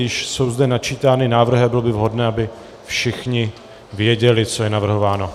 Již jsou zde načítány návrhy a bylo by vhodné, aby všichni věděli, co je navrhováno.